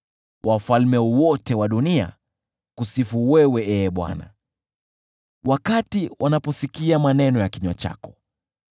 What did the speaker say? Wafalme wote wa dunia wakusifu wewe Ee Bwana , wakati wanaposikia maneno ya kinywa chako.